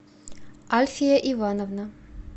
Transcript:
альфия ивановна